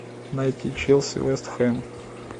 найти челси вест хэм